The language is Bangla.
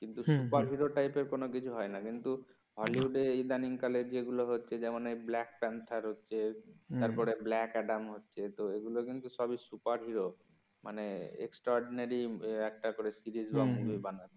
সুপার হিরো টাইপের কোন কিছু হয় না কিন্তু হলিউডে ইদানিং কালে যেগুলো হচ্ছে যেমন ব্লাক পান্থার হচ্ছে তারপরে ব্লাক আদাম হচ্ছে যেহেতু এগুলো কিন্তু সবগুলো সুপার হিরো মানে extraordinary একটা করে সিরিজ অবলম্বন করে বানানো